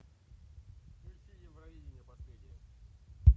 включи евровидение последнее